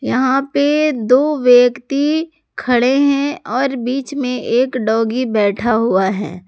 यहां पे दो व्यक्ति खड़े हैं और बीच में एक डॉगी बैठा हुआ है।